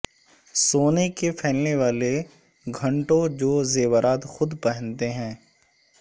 سونے کے پھیلنے والے گھنٹوں جو زیورات خود پہنتے ہیں